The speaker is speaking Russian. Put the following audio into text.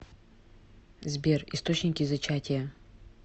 сбер источники зачатие